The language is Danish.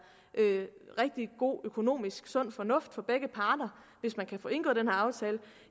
rigtig god økonomisk sund fornuft for begge parter hvis man kan få indgået den her aftale